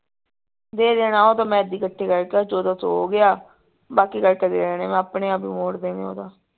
ਦੇ ਦੇਣੇ ਉਹ ਤਾਂ ਮੈਂ ਕੱਠੇ ਕਰ ਕੇ ਚੋਦਾਂ ਸੋ ਹੋ ਗਿਆ ਬਾਕੀ ਕਰਕੇ ਦੇ ਦੇਣੇ ਮੈਂ ਆਪਣੇ ਆਪ ਹੀ ਮੋੜ ਦੇਣੇ ਉਹ ਤਾ